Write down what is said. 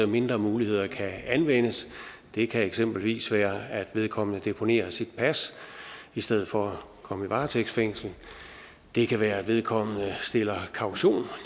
mindre muligheder kan anvendes det kan eksempelvis være at vedkommende deponerer sit pas i stedet for at komme i varetægtsfængsel det kan være at vedkommende stiller kaution